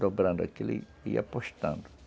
dobrando aquilo e apostando.